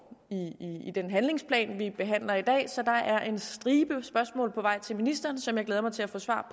i den handlingsplan vi behandler i dag så der er en stribe spørgsmål på vej til ministeren som jeg glæder mig til at få svar